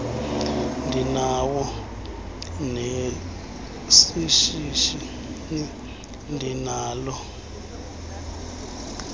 ndinawo neshishini ndinalo